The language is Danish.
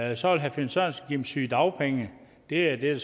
jeg så vil herre finn sørensen give sygedagpenge det er det